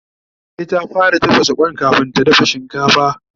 E, ta fara tafasa Kwan kamin ta dafa shinkafa